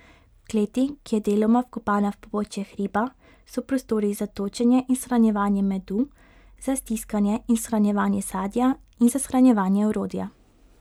V kleti, ki je deloma vkopana v pobočje hriba, so prostori za točenje in shranjevanje medu, za stiskanje in shranjevanje sadja in za shranjevanje orodja.